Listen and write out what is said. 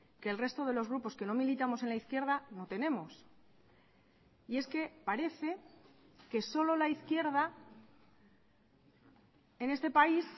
que el resto de los grupos que no militamos en la izquierda no tenemos y es que parece que solo la izquierda en este país